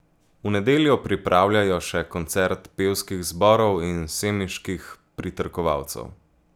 V nedeljo pripravljajo še koncert pevskih zborov in semiških pritrkovalcev.